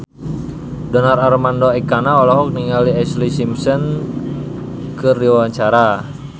Donar Armando Ekana olohok ningali Ashlee Simpson keur diwawancara